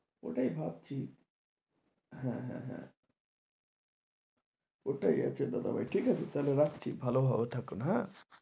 ওটাই ভাবছি হ্যাঁ, হ্যাঁ, হ্যাঁ, ওটাই আচ্ছা দাদাভাই ঠিক আছে তাহলে রাখছি ভালো ভাবে থাকুন হ্যাঁ,